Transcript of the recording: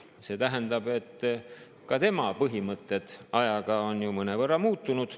See tähendab, et ka tema põhimõtted on ajaga mõnevõrra muutunud.